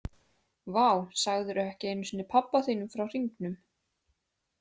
Vá, sagðirðu ekki einu sinni pabba þínum frá hringnum?